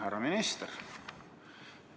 Härra minister!